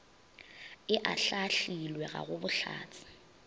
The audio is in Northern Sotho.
e ahlaahlilwe ga go bohlatse